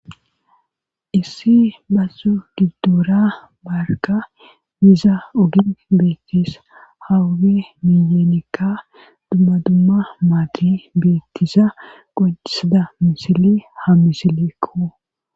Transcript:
issi bazo giddoora barka yiza ogin beettis hawuge miyenikka dumma dumma maati beettisa qodisada misile ha misileekko